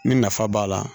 Ni nafa b'a la